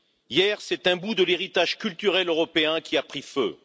Hier, c'est un bout de l'héritage culturel européen qui a pris feu.